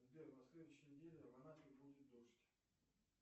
сбер на следующей неделе в анапе будет дождь